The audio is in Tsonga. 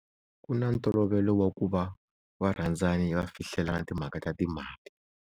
Ku na ntolovelo wa ku va varhandzani va fihlelana timhaka ta timali.